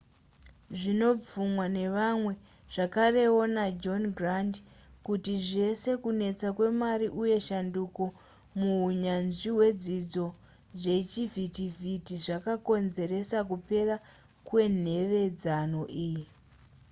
zvinobvumwa nevamwe zvakarewo najohn grant kuti zvese kunetsa kwemari uye shanduko muhunyanzvi hwezvidzidzo zvechivhitivhiti zvakakonzeresa kupera kwenhevedzano iyi